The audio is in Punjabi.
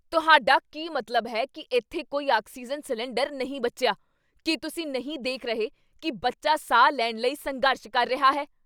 ਤੁਹਾਡਾ ਕੀ ਮਤਲਬ ਹੈ ਕੀ ਇੱਥੇ ਕੋਈ ਆਕਸੀਜਨ ਸਿਲੰਡਰ ਨਹੀਂ ਬਚਿਆ? ਕੀ ਤੁਸੀਂ ਨਹੀਂ ਦੇਖ ਰਹੇ ਕੀ ਬੱਚਾ ਸਾਹ ਲੈਣ ਲਈ ਸੰਘਰਸ਼ ਕਰ ਰਿਹਾ ਹੈ?